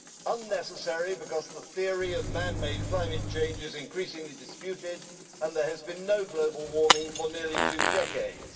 Unnecessary, because the theory of man made climate change is increasingly disputed, and there has been no global warming for nearly two decades.